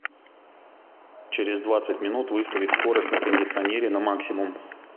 через двадцать минут выставить скорость на кондиционере на максимум